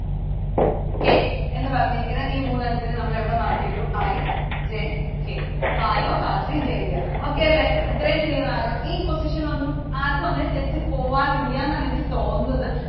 K എന്ന് പറഞ്ഞിരിക്കുന്ന ഈ മൂന്നെണ്ണത്തിനെ നമ്മൾ എവിടെ mark ചെയ്തു? I, J, K. Garo, Khasi, Jaintia. Okay അല്ലെ? ഇത്രയും Clear ആയോ? ഈ position ഒന്നും ആർക്കും അങ്ങിനെ തെറ്റിപോവാറില്ല എന്നാണ് എനിക്ക് തോന്നുന്നത്.